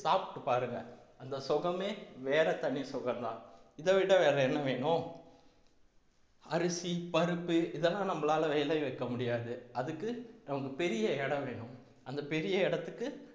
சாப்பிட்டு பாருங்க அந்த சுகமே வேற தனி சுகம்தான் இதைவிட வேற என்ன வேணும் அரிசி பருப்பு இதெல்லாம் நம்மளால விளைய வைக்க முடியாது அதுக்கு நமக்கு பெரிய இடம் வேணும் அந்த பெரிய இடத்துக்கு